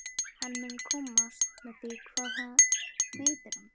Hann mun komast að því hvað meiðir hann.